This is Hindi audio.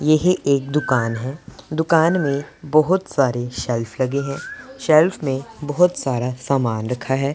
यही एक दुकान है दुकान में बहोत सारे सेल्फ लगे हैं सेल्फ में बहोत सारा सामान रखा है।